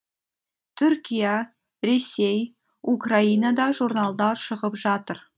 түркия ресей украинада журналдар шығып жатыр